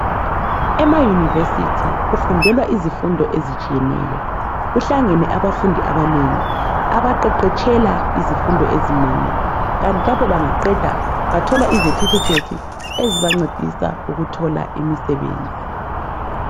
Emayunivesithi kufundelwa izifundo ezitshiyeneyo, kuhlangene abafundi abanengi abaqeqetshela izifundo ezinengi. Kanti lapho bangaqeda bathola izethifikhethi ezibancedisa ukuthola imisebenzi.